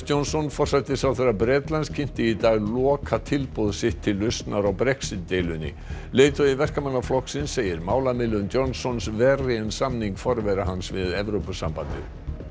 Johnson forsætisráðherra Bretlands kynnti í dag lokatilboð sitt til lausnar á Brexit deilunni leiðtogi Verkamannaflokksins segir málamiðlun Johnsons verri en samning forvera hans við Evrópusambandið